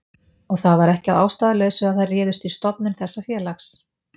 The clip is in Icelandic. Og það var ekki að ástæðulausu að þær réðust í stofnun þessa félags.